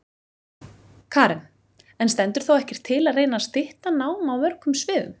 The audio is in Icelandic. Karen: En stendur þá ekkert til að reyna stytta nám á mörgum sviðum?